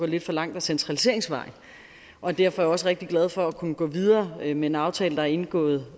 lidt for langt ad centraliseringsvejen og derfor er jeg også rigtig glad for at kunne gå videre med en aftale der er indgået